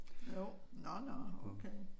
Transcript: Jo nå nå okay